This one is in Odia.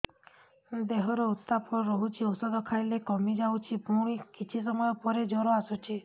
ଦେହର ଉତ୍ତାପ ରହୁଛି ଔଷଧ ଖାଇଲେ କମିଯାଉଛି ପୁଣି କିଛି ସମୟ ପରେ ଜ୍ୱର ଆସୁଛି